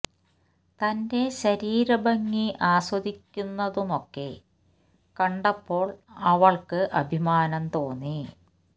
തന്റെ ശരീര ഭംഗി ആസ്വദിക്കുന്നതു മൊക്കെ കണ്ടപ്പോള് അവൾക്കു അഭിമാനം തോന്നി